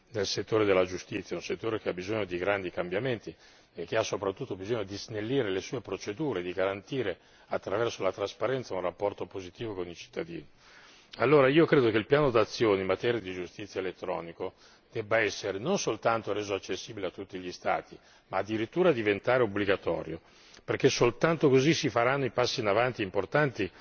nel settore della giustizia, un settore che ha bisogno di grandi cambiamenti e soprattutto di snellire le sue procedure e di garantire, attraverso la trasparenza, un rapporto positivo con i cittadini. Ritengo pertanto che il piano d'azione in materia di giustizia elettronica debba non soltanto essere reso accessibile a tutti gli Stati, ma addirittura diventare obbligatorio perché soltanto così si faranno i necessari passi in avanti importanti.